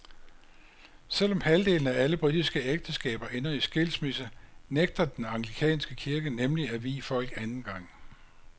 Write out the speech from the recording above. Selvom halvdelen af alle britiske ægteskaber ender i skilsmisse, nægter den anglikanske kirke nemlig at vie folk anden gang.